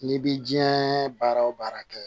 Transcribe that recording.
N'i bi diɲɛ baara o baara kɛ